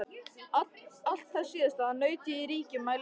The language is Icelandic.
Alls þess síðasttalda naut ég í ríkum mæli hjá ykkur.